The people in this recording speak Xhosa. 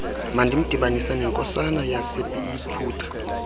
mandimdibanise nenkosana yaseyiputa